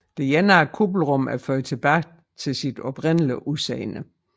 Det ene af kuppelrummene er ført tilbage til sit oprindelige udseende